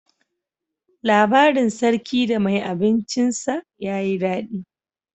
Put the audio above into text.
Labarin sarki da mai abincin sa ya yi daɗi.